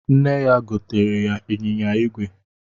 Nne ya gotere ya ịnyịnya igwe